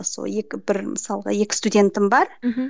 сол екі бір мысалға екі студентім бар мхм